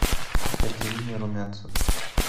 екатерине румянцевой